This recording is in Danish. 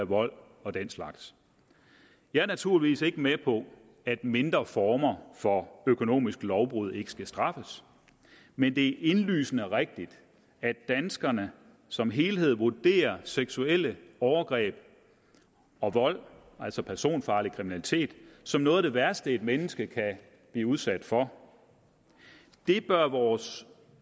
vold og den slags jeg er naturligvis ikke med på at mindre former for økonomisk lovbrud ikke skal straffes men det er indlysende rigtigt at danskerne som helhed vurderer seksuelle overgreb og vold altså personfarlig kriminalitet som noget af det værste et menneske kan blive udsat for det bør vores